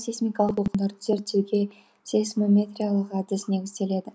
сейсмикалық толқындарды зерттеуге сейсмометриялық әдіс негізделеді